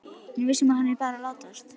Hún er viss um að hann er bara að látast.